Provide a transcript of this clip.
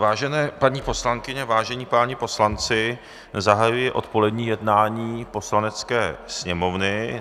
Vážené paní poslankyně, vážení páni poslanci, zahajuji odpolední jednání Poslanecké sněmovny.